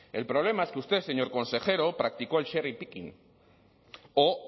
el problema es que usted señor consejero practicó el serie picking o